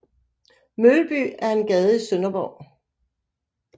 Mølby er en gade i Sønderborg